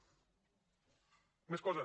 més coses